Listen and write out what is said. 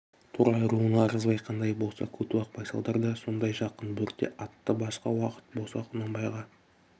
торғай руына ырғызбай қандай болса көтібақ байсалдар да сондай жақын бөрте атты басқа уақыт болса құнанбайға